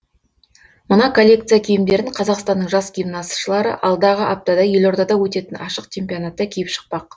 мына коллекция киімдерін қазақстанның жас гимнастшылары алдағы аптада елордада өтетін ашық чемпионатта киіп шықпақ